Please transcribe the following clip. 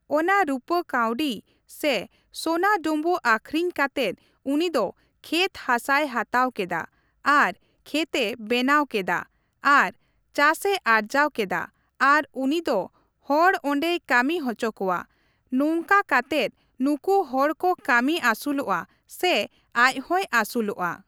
ᱚᱱᱟ ᱨᱩᱯᱟᱹ ᱠᱟᱹᱣᱰᱤ ᱥᱮ ᱥᱚᱱᱟ ᱰᱩᱸᱵᱩᱜ ᱟᱹᱠᱷᱨᱤᱧ ᱠᱟᱛᱮᱫ ᱩᱱᱤ ᱫᱚ ᱠᱷᱮᱛ ᱦᱟᱥᱟᱭ ᱦᱟᱛᱟᱣ ᱠᱮᱫᱟ ᱾ ᱟᱨ ᱠᱷᱮᱛᱼᱮ ᱵᱮᱱᱟᱣ ᱠᱮᱫᱟ ᱟᱨ ᱪᱟᱥᱮ ᱟᱨᱡᱟᱣ ᱠᱮᱫᱟ, ᱟᱨ ᱩᱱᱤ ᱫᱚ ᱦᱚᱲ ᱚᱸᱰᱮᱭ ᱠᱟᱹᱢᱤ ᱦᱚᱪᱚ ᱠᱚᱣᱟ, ᱱᱚᱝᱠᱟ ᱠᱟᱛᱮᱫ ᱱᱩᱠᱩ ᱦᱚᱲ ᱠᱚ ᱠᱟᱹᱢᱤ ᱟᱥᱩᱞᱚᱜᱼᱟ ᱥᱮ ᱟᱡ ᱦᱚᱸᱭ ᱟᱹᱥᱩᱞᱚᱜᱼᱟ ᱾